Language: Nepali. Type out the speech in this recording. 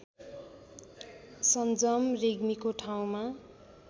सञ्जम रेग्मीको ठाउँमा